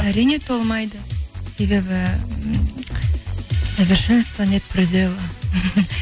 әрине толмайды себебі совершенству нет предела